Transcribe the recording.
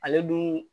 Ale dun